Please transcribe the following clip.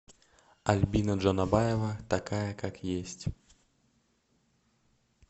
альбина джанабаева такая как есть